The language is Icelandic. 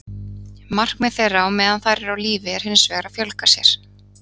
Markmið þeirra á meðan þær eru á lífi er hins vegar að fjölga sér.